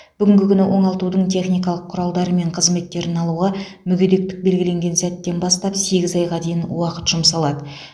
бүгінгі күні оңалтудың техникалық құралдары мен қызметтерін алуға мүгедектік белгіленген сәттен бастап сегіз айға дейін уақыт жұмсалады